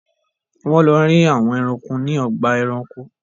Wón ló rí àwòn ẹranko ní Ọgbà ẹranko.